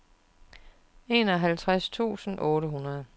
enoghalvtreds tusind otte hundrede